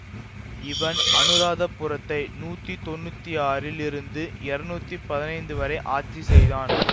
இவன் அனுராதபுரத்தை நூத்தி தொன்னூத்தி ஆறில் இருந்து இருநூத்தி பதினைந்து வரை ஆட்சி செய்தான்